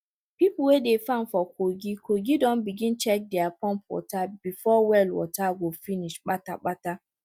people wey dey farm for kogi kogi don begin check dere pump water before well water go finish pata pata